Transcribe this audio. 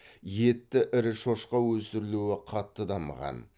етті ірі шошқа өсірілуі қатты дамыған